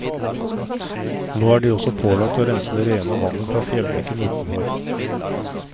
Nå er de også pålagt å rense det rene vannet fra fjellbekken utenfor.